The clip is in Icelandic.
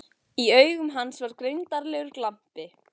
Í augum hans var greindarlegur glampi.